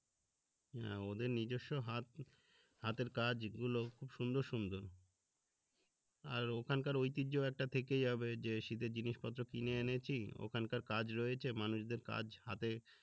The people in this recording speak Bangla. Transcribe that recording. হ্যা ওদের নিজস্ব হাত হাতের কাজ গুলো খুব সুন্দর সুন্দর আর ওখানকার ঐতিহ্য একটা থেকেই হবে যে জিনিসপত্র কিনে এনেছি ওখানকার কাজ রয়েছে মানুষদের কাজ হাতে